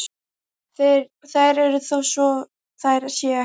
Þær eru þó svo þær séu ekki.